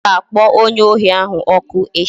Ha ga-akpọ onye ohi ahụ ọkụ echi